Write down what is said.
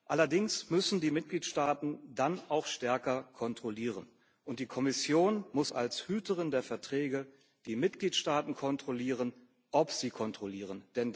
Allerdings müssen die Mitgliedstaaten dann auch stärker kontrollieren, und die Kommission muss als Hüterin der Verträge die Mitgliedstaaten kontrollieren, ob sie kontrollieren.